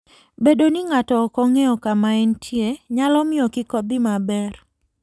Bedo ni ng'ato ok ong'eyo kama entie, nyalo miyo kik odhi maber.